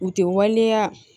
U tɛ waleya